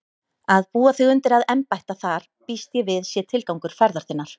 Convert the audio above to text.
Að búa þig undir að embætta þar býst ég við sé tilgangur ferðar þinnar.